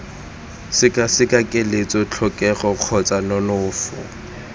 sekaseka keletso tlhokego kgotsa nonofo